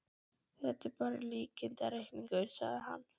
Þetta er bara líkindareikningur, sagði hann.